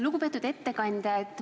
Lugupeetud ettekandja!